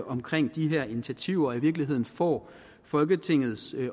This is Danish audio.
omkring de her initiativer og i virkeligheden får folketingets